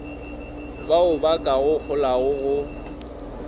baoba ka go holago go